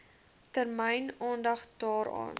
termyn aandag daaraan